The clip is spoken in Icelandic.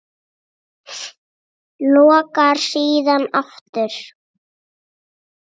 Lokar síðan aftur.